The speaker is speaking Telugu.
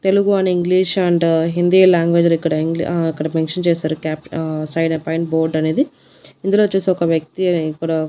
Telugu and English and Hindi language లు ఇక్కడ ఆ ఇక్కడ మెన్షన్ చేశారు క్యాంప్ ఆ సైడ్ బోర్డు అనేది ఇందులో వచ్చేసే ఒక వ్యక్తి అనేది ఇక్కడ.